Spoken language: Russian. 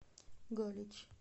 галич